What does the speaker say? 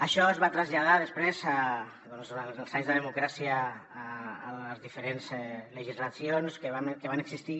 això es va traslladar després doncs durant els anys de democràcia a les diferents legislacions que van existir